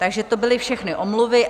Takže to byly všechny omluvy.